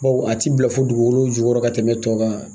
Bawo a ti bɛn fo dugukolo jukɔrɔ ka tɛmɛ tɔw kan